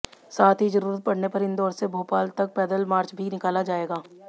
साथ ही जरूरत पड़ने पर इंदौर से भोपाल तक पैदल मार्च भी निकाला जाएगा